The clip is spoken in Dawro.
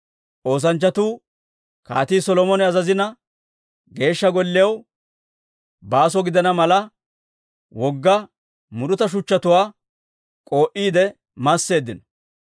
Oosanchchatuu Kaatii Solomone azazina, Geeshsha Golliyaw baaso gidana mala wogga muruta shuchchatuwaa k'oo'iide masseeddino.